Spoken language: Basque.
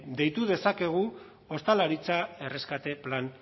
deitu dezakegu ostalaritza erreskate plan